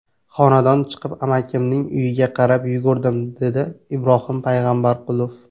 Xonadan chiqib, amakimning uyiga qarab yugurdim”, deydi Ibrohim Payg‘ambarqulov.